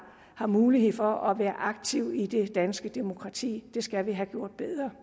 har mulighed for at være aktive i det danske demokrati det skal vi have gjort